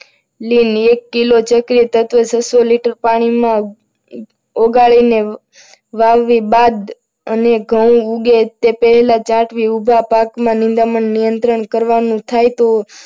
લીલે એક કિલો ચક્રીય તત્વો છસો લિટર પાણીમાં ઓગાળીને વાવણી બાદ અને ઘઉં ઉગે તે પહેલા પેલા ઉભા પાકમાં નિંદામણ નિયંત્રણ કરવાનું થાય તો,